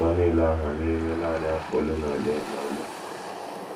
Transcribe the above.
Uto nile ahụ n’ime nanị afọ ole na ole! na ole!